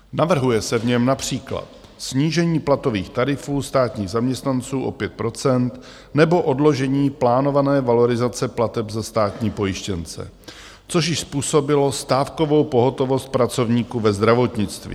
Navrhuje se v něm například snížení platových tarifů státních zaměstnanců o 5 % nebo odložení plánované valorizace plateb za státní pojištěnce, což již způsobilo stávkovou pohotovost pracovníků ve zdravotnictví.